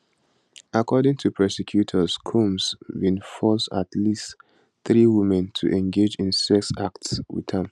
according to prosecutors combs bin force at least three women to engage in sex acts wit am